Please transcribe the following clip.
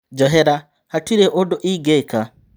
Njohera hatirĩ ũndũ ingĩ ka.